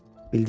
Bildin?